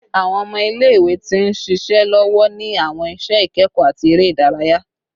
Awọn ọmọ ile-iwe ti nṣiṣe lọwọ ni awọn iṣẹ ikẹkọ ati ere idaraya